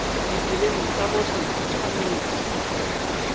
ditseleng tsa botlhe di tshwanetse